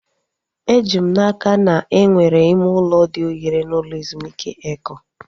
Eji m n'aka na enwere ime ụlọ dị ohere n'ụlọ ezumike Eko